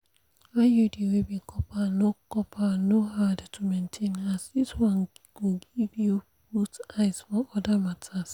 iud wey be copper no copper no hard to maintain as this one go make you put eyes for other matters.